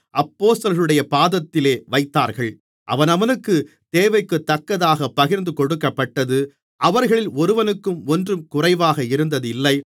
அப்போஸ்தலர்களுடைய பாதத்திலே வைத்தார்கள் அவனவனுக்குத் தேவைக்குத்தக்கதாகப் பகிர்ந்துகொடுக்கப்பட்டது அவர்களில் ஒருவனுக்கும் ஒன்றும் குறைவாக இருந்ததில்லை